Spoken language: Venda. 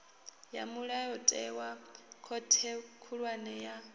ya mulayotewa khothe khulwane ya